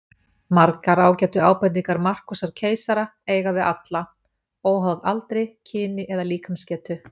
Þessar ágætu ábendingar Markúsar keisara eiga við alla, óháð aldri, kyni eða líkamsgetu.